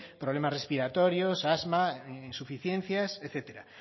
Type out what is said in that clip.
problemas respiratorios asma insuficiencias etcétera